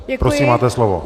Prosím, máte slovo.